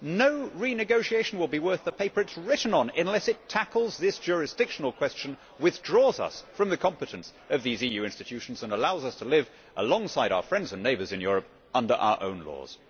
No renegotiation will be worth the paper it is written on unless it tackles this jurisdictional question, withdraws us from the competence of those EU institutions and allows us to live alongside our friends and neighbours in Europe under our own laws.